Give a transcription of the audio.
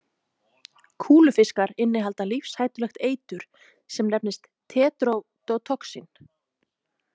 Kúlufiskar innihalda lífshættulegt eitur sem nefnist tetrodotoxin.